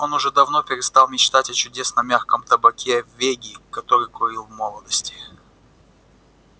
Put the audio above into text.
он уже давно перестал мечтать о чудесном мягком табаке веги который курил в молодости